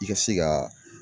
I ka se ka